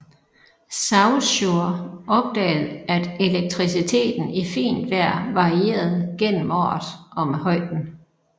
Saussure opdagede at elektriciteten i fint vejr varierede gennem året og med højden